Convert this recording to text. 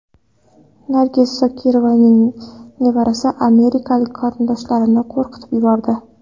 Nargiz Zokirovaning nevarasi amerikalik qarindoshlarini qo‘rqitib yubordi.